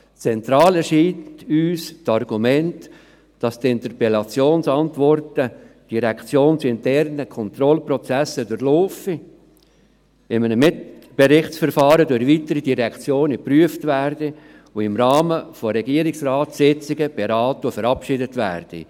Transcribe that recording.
Zentral erscheint uns das Argument, dass die Interpellationsantworten direktionsinterne Kontrollprozesse durchlaufen, in einem Mitberichtsverfahren durch weitere Direktionen geprüft werden und im Rahmen der Regierungsratssitzungen beraten und verabschiedet werden.